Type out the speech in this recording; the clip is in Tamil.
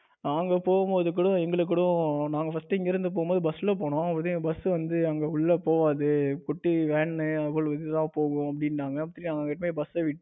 நாங்க போகும்போது கூட எங்களுக்கு கூட நாங்க first இங்கிருந்து போகும்போது bus ல போனோம். விருதுநகர் bus வந்து அங்கு உள்ள போகாது குட்டி van போகும். அப்படின்னுனாங்க ஏற்கனவே bus